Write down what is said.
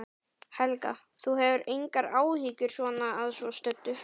Helga: Þú hefur engar áhyggjur svona að svo stöddu?